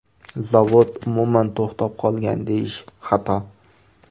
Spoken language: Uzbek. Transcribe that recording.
Zavod umuman to‘xtab qolgan deyish xato.